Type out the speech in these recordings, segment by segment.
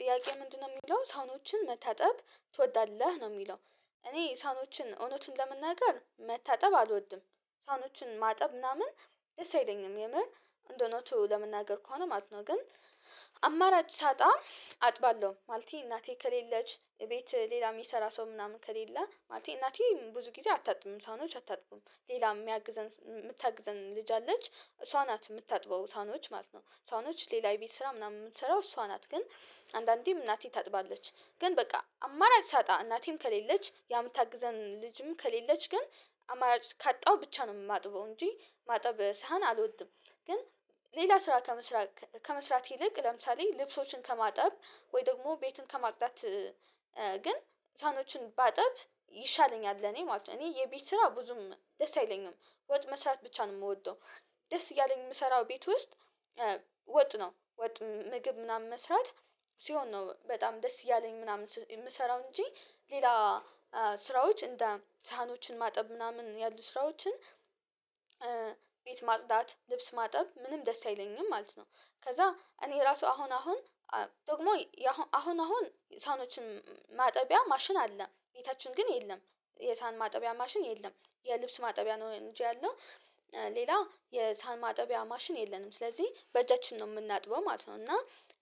ጥያቄ ምንድነው የሚለው ሳህኖችን መታጠብ ትወዳለህ ነው የሚለው? እኔ ሳህኖችን እውነትን ለመናገር መታጠብ አልወድም ሳህኖችን ማጠብ ምናምን ደስ አይለኝም የምር እንደሆነ ነው ለመናገር ከሆነ ማለት ነው። ግን አማራጭ ሳጣ አጥባለሁ ማለቴ እናቴ ከሌለች ቤት ሌላ የሚሰራ ሰው ምናምን ከሌለ ማለት እናቴ ብዙ ጊዜ አታጥብም ሳኖች አታጥብም ሌላ የሚያግዘን ልጅ አለች እሷ ናት የምታጥበው ሳህኖች ማለት ነው እሷነች ሌላ ቤት ስራ ምናምን የምትሰራው እሷ ናት ግን አንዳንዴም እናቴ ታጥባለች ግን በቃ አማራጭ ሳጣ እናቴም ከሌለች ያምታግዘን ልጅም ከሌለች ግን አማራጭ ካጣው ብቻ ነው የማጥበው እንጂ ማጠብሳህን አልወድም። ግን ሌላ ስራ ከመስራት ከመስራት ይልቅ ለምሳሌ ልብሶችን ከማጠብ ወይ ደግሞ ቤትን ከማፅዳት ሳህኖችን ባጥብ ይሻለኛል እኔ ማለት ነው። እኔ የቤት ስራ ብዙም ደስ አይለኝም ወጥ መስራት ብቻ ነው የምወደው። ደስ እያለኝ የምሰራው ቤት ውስጥ ወጥ ነው ወጥ ምግብ ምናምን መስራት ሲሆን ነው በጣም ደስ እያለኝ ምናምን የምሰራው እንጂ ሌላ ስራዎች እንደ ሳህኖችን ማጠብ ምናምን ያሉ ስራዎችን ቤት ማጽዳት ልብስ ማጠብ ምንም ደስ አይለኝም ማለት ነው። ከዛ እኔ ራሱ አሁን አሁን ደግሞ አሁን አሁን ሳህኖችን ማጠቢያ ማሽን አለ ቤታችን ግን የለም የሳህን ማጠቢያ ማሽን የለም የልብስ ማጠቢያ ነው እንጂ ያለው ሌላ የሳህን ማጠቢያ ማሽን የለንም ስለዚህ በእጃችን ነው የምናጥበው ማለት ነው። እና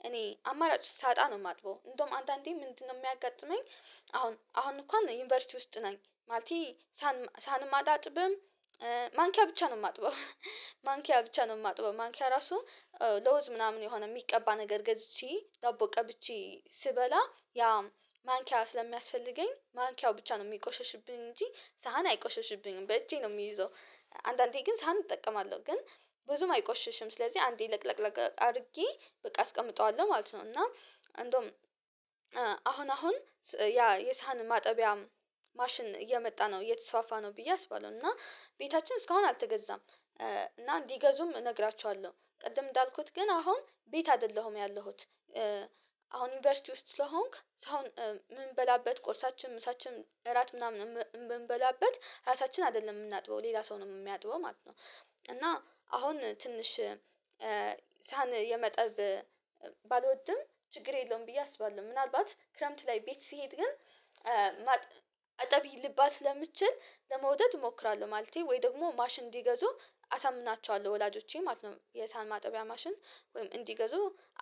እኔ አማራጭ ሳጣ ነው የማጥበው እንደውም አንዳንዴ ምንድነው የሚያጋጥመኝ አሁን አሁን እንኳን ዩኒቨርሲቲ ውስጥ ነኝ ማለቴ ሳህንም አላጥብም። ማንኪያ ብቻ ነው የማጥበው ማንኪያ ብቻ ነው የማጥበው ማንኪያ ራሱ ለውዝዝ ምናምን የሆነ የሚቀባ ነገር ገዝቼ ዳቦ ቀብቼ ስበላ ያ ማንኪያ ስለሚያስፈልገኝ ማንኪያው ብቻ ነው የሚቆሸሽብኝ እንጂ ሳህን አይቆሸሽብኝም በእጄ ነው የሚይዘው። አንዳንዴ ግን ሳህን እጠቀማለሁ ግን ብዙም አይቆሽሽም ስለዚህ አንዴ ለቅለቅለቅ አድርጌ በቃ አስቀምጠዋለሁ ማለት ነው። እና እንደውም አሁን አሁን ያ የሳህን ማጠቢያ ማሽን እየመጣ ነው እየተስፋፋ ነው ብዬ አስባለሁ እና ቤታችን እስካሁን አልተገዛም እና እንዲገዙም እነግራችኋለሁ ቅድም እንዳልኩት ግን አሁን ቤት አይደለሁም ያለሁት። አሁን ዩኒቨርሲቲ ውስጥ ስለሆንክ አሁን ምን በላበት ቆርሳችን ምሳችን እራት ምናምን የምንበላበት ራሳችን አይደለም የምናጥበው ሌላ ሰው ነው የሚያጥበው ማለት ነው። እና አሁን ትንሽ ሳህን የማጠብ ባልወድም ችግር የለውም ብዬ አስባለሁ ምናልባት ክረምት ላይ ቤት ስሄድ ግን አጠቢ ልባል ስለምትችል ለመውደድ እሞክራለሁ ማለቴ ወይ ደግሞ ማሽን እንዲገዙ አሳምናቸዋለሁ ወላጆቼ ማለት ነው። የሳህን ማጠቢያ ማሽን ወይም እንዲገዙ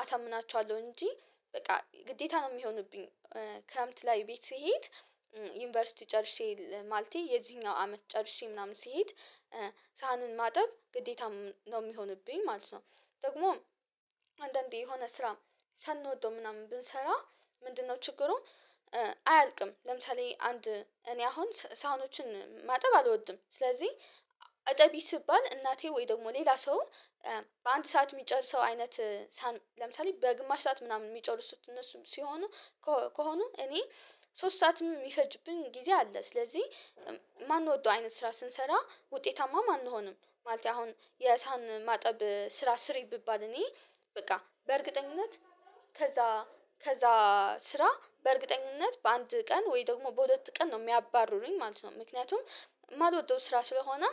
አሳምናችኋለሁ እንጂ በቃ ግዴታ ነው የሚሆኑብኝ ክረምት ላይ ቤት ስሄድ ዩኒቨርሲቲ ጨርሼ ማለቴ የዚህኛው አመት ጨርሼ ምናምን ስሄድ ሳህንን ማጠብ ግዴታም ነው የሚሆንብኝ ማለት ነው። ደግሞ አንዳንዴ የሆነ ስራ ሳንወደው ምናምን ብንሰራ ምንድነው ችግሩ? አያልቅም ለምሳሌ አንድ እኔ አሁን ሳውኖችን ማጠብ አልወድም ስለዚህ እጠቢ ስባል እናቴ ወይ ደግሞ ሌላ ሰው በአንድ ሰዓት የሚጨርሰው አይነት ለምሳሌ በግማሽ ሰዓት ምናምን የሚጨርሱት እነሱም ሲሆኑ ከሆኑ እኔ ሶስት ሰዓትም የሚፈጅብኝ ጊዜ አለ ስለዚህ ማን ወደው አይነት ስራ ስንሰራ ውጤታማ አንሆንም ማለት አሁን የሳህን ማጠብ ስራ ስሪ ብባል እኔ በቃ በእርግጠኝነት ከዛ ከዛ ስራ በእርግጠኝነት በአንድ ቀን ወይ ደግሞ በሁለት ቀን ነው የሚያባርሩኝ ማለት ነው። ምክንያቱም ማልወደው ስራ ስለሆነ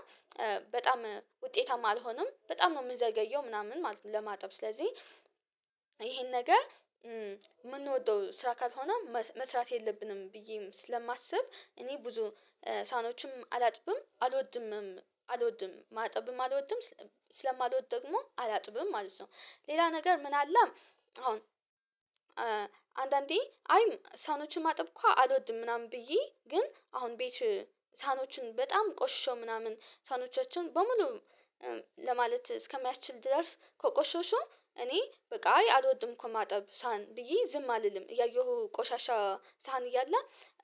በጣም ውጤታማ አልሆንም በጣም ነው የምዘገየው ምናምን ለማጠብ ስለዚህ ይሄን ነገር የምንወደው ስራ ካልሆነም መስራት የለብንም ብዬም ስለማስብ እኔ ብዙ ሳህኖችም አላጥብም አልወድምም አልወድም ማጠብም አልወድም ስለማልወድ ደግሞ አላጥብም ማለት ነው። ሌላ ነገር ምን አለ? አሁን አንዳንዴ አይ ሳኖችን ማጠብኩ አልወድም ምናምን ብዬ ግን አሁን ቤት ሳህኖችን በጣም ቆሽሾ ምናምን ሳኖቻችን በሙሉ ለማለት እስከሚያስችል ድረስ ከቆሸሸ እኔ በቃ አልወድም እኮ ማጠብ ሳህን ብዬ ዝም አልልም እያየሁ ቆሻሻ ሳህን እያለ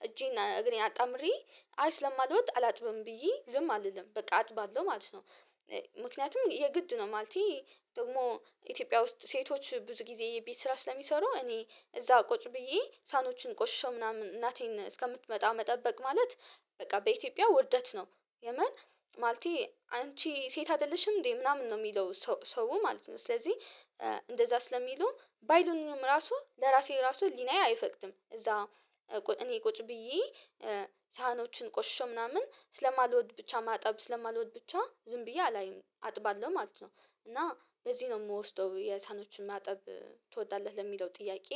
እጄን እግሬን አጣምሬ አይ ስለማልወድ አላጥብም ብዬ ዝም አልልም በቃ አጥባለሁ ማለት ነው። ምክንያቱም የግድ ነው ማለቴ ደግሞ ኢትዮጵያ ውስጥ ሴቶች ብዙ ጊዜ የቤት ስራ ስለሚሰሩ እኔ እዛ ቁጭ ብዬ ሳህኖችን ቆሽሼው ምናምን እናቴን እስከምትመጣ መጠበቅ ማለት በቃ በኢትዮጵያ ውርደት ነው የምር ማለቴ አንቺ ሴት አይደለሽም እንዴ ምናምን ነው የሚለው ሰው ማለት ነው። ስለዚህ እንደዛ ስለሚሉ ባይሉኝም ራሱ ለራሴ ራሱ ህሊናዬ አይፈቅድም እዛ እኔ ቁጭ ብዬ ሳህኖችን ቆሽሾ ምናምን ስለማልወድ ብቻ ማጠብ ስለማልወድ ብቻ ዝም ብዬ አላይም አጥባለሁ ማለት ነው። እና በዚህ ነው የምወስደው የሳኖችን ማጠብ ትወዳለህ ለሚለው ጥያቄ